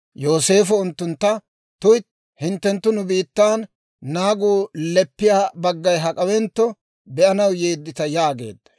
Yooseefo unttuntta, «tuytti; hinttenttu nu biittan naagu leppiyaa baggay hak'awentto be'anaw yeeddita» yaageedda.